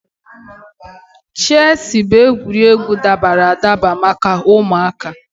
Chesị bụ egwuregwu dabara adaba maka ụmụaka.